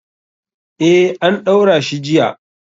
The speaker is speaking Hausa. Eh, an ɗaura shi jiya.